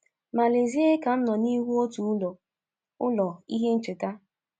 Ma lezie ka m nọ n’ihu otu ụlọ, ụlọ, ihe ncheta.